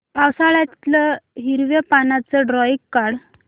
पावसाळ्यातलं हिरव्या पानाचं ड्रॉइंग काढ